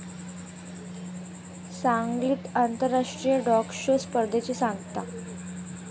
सांगलीत आंतराष्ट्रीय dog show स्पर्धेची सांगता